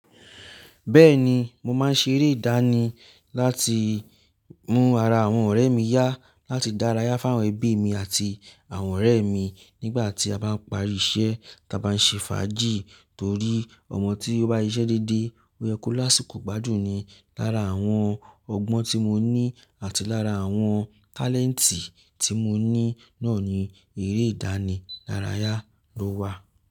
Bẹ́ẹ̀ni, mo máa ń ṣe eré ìdánì láti mú ara àwọn ọ̀rẹ́ mi yá, láti dárayá fún àwọn ẹbí mi àti àwọn ọ̀rẹ́ mi nígbà tí a bá ń parí iṣẹ́ táa bá ń ṣe fàájì. Torí ọmọ tí ó bá siṣẹ́ déédéé, ó yẹ kó lásìkò gbádùn ni. Lára àwọn ọgbọ́n tí mo ní àti lára àwọn talentì tí mo ní náà ni eré ìdánì dárayá ló wà.